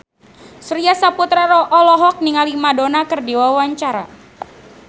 Surya Saputra olohok ningali Madonna keur diwawancara